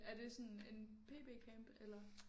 Er det sådan en PB camp eller?